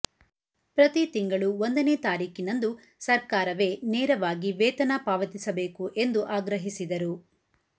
ಪ್ರತಿತಿಂಗಳು ಒಂದನೇ ತಾರೀಖಿನಂದು ಸರ್ಕಾರವೇ ನೇರವಾಗಿ ವೇತನ ಪಾವತಿಸಬೇಕು ಎಂದು ಆಗ್ರಹಿಸಿದರು